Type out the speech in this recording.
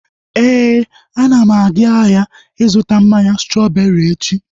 Éè, ana m aga ahịa ịzụta mmanya strọbeeri echi